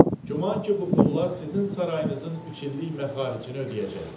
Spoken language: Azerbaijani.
Güman ki bu pullar sizin sarayınızın üç illik məxaricini ödəyəcək.